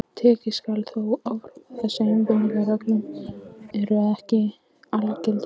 Tekið skal þó fram að þessar leiðbeiningarreglur eru ekki algildar.